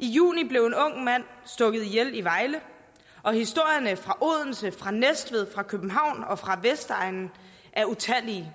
i juni blev en ung mand stukket ihjel i vejle og historierne fra odense fra næstved fra københavn og fra vestegnen er utallige